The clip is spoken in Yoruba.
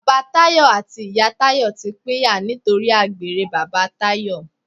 Bàbá Tayọ àti ìyá Tayọ ti pínyà nítorí àgbèrè bàbá Tayọ.